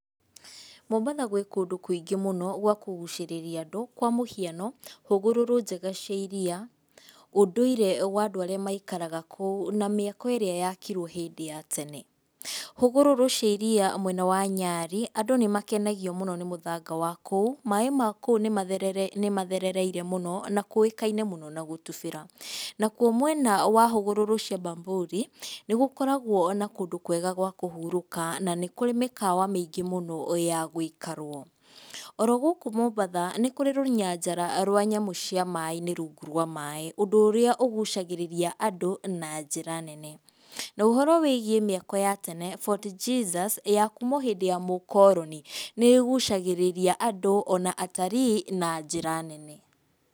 Mombatha gwĩ kũndũ kũingĩ mũno gwa kũgucĩrĩria andũ, kwa mũhiano hũgũrũrũ njega cia riya, ũndũire wa andũ arĩa maikaraga kũu na mĩako ĩrĩa yakirwo hĩndĩ ya tene, hũgũrũrũ ciariya mwena wa nyarĩ andũ nĩ makenagio mũno nĩ mũthanga wa kũu, maĩ makũu nĩ mathe nĩ matherereire mũno, na kũĩkaine mũno na gũtubĩra, nakuo mwena wa hũgũrũrũ cia Bamburi nĩ gũkoragwo na kũndũ kwega gwa kũhurũka na nĩ kũrĩ mĩkawa maingĩ mũno ya gũikarwo, orogũkũ mũbatha nĩ kũrĩ rũnyanjara rwa nyamũ cia maĩ-inĩ rungu rwa maĩ, ũndũ ũria ũgucagĩrĩria andũ na njĩra nene, nohoro wĩgie mĩako ya tene Fort Jesus ya kuuma o hĩndĩ ya mũkoroni nĩ ĩgucagĩrĩria andũ ona atari na njĩra nene.